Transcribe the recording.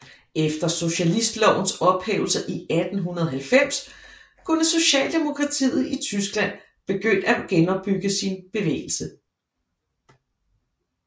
Efter socialistlovens ophævelse i 1890 kunne socialdemokratiet i Tyskland begynde at genopbygge sin bevægelse